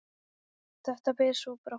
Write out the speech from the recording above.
Þetta ber svo brátt að.